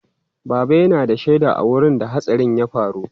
Baba yana da shaida a wurin da hatsarin ya faru.